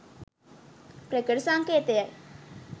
ප්‍රකට සංකේතයයි.